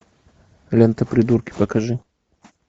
лента придурки покажи